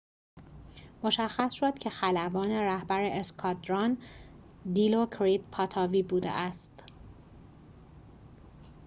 مشخص شد که خلبان رهبر اسکادران دیلوکریت پاتاوی بوده است